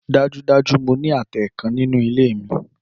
Dájúdájú! Mo ní àtẹ kan nínú ilé mi